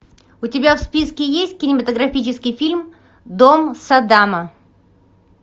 у тебя в списке есть кинематографический фильм дом саддама